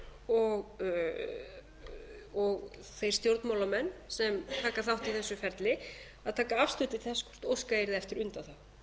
og þeir stjórnmálamenn sem taka þátt í þessu ferli að taka afstöðu til þess að óskað yrði eftir